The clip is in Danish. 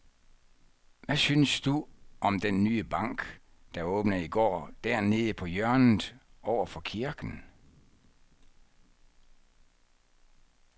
Hvad synes du om den nye bank, der åbnede i går dernede på hjørnet over for kirken?